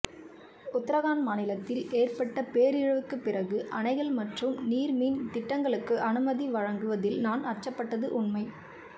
உத்தரகாண்ட் மாநிலத்தில் ஏற்பட்ட பேரழிவுக்குப் பிறகு அணைகள் மற்றும் நீர்மின் திட்டங்களுக்கு அனுமதி வழங்கு வதில் நான் அச்சப்பட்டது உண்மை